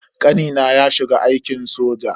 Kanina ya shiga aikin soja.